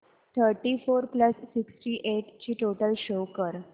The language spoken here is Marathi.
thirty four plus sixty eight ची टोटल शो कर